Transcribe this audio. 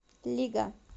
лига